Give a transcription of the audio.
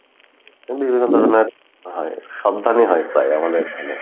হয় সব ধানই হয় প্রায় আমাদের এইখানে